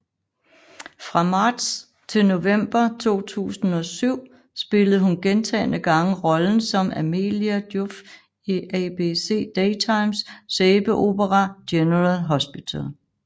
Fra marts til november 2007 spillede hun gentagne gange rollen som Amelia Joffe i ABC Daytimes sæbeopera General Hospital